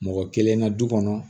Mɔgɔ kelen na du kɔnɔ